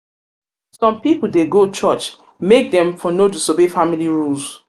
some pipol dey go church make dem um make dem um for no disobey family rules